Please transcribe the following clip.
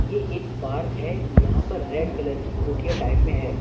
ये एक पार्क है यहां पर रेड कलर की कुटिया टाइप में है।